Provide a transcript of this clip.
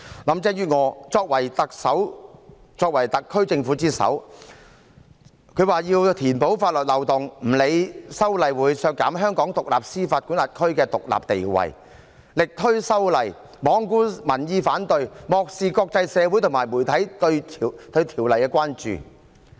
林鄭月娥作為特首、作為特區政府之首，表示要填補法律漏洞，不理會修例會削弱香港司法管轄區的獨立地位，力推修例，罔顧民意反對，漠視國際社會和媒體對修例的關注。